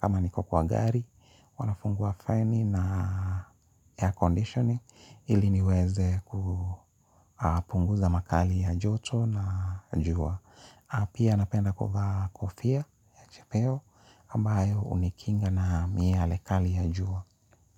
kama niko kwa gari, huwa nafungua feni na air conditioning, ili niweze kupunguza makali ya joto na jua. Pia napenda kuvaa kofia, ya chepeo, ambayo hunikinga na miale kali ya jua.